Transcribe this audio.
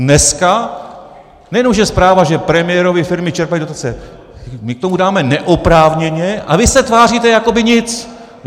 Dneska nejenom že zpráva, že premiérovy firmy čerpaly dotace - my k tomu dáme neoprávněně, a vy se tváříte, jako by nic.